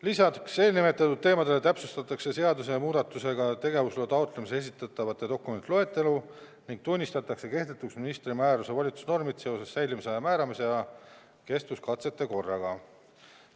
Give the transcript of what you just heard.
Lisaks eelnimetatud teemadele täpsustatakse seaduse muudatusega tegevusloa taotlemisel esitatavate dokumentide loetelu ning tunnistatakse kehtetuks ministri määruste volitusnormid seoses säilimisaja määramise ja kestvuskatsete korraga.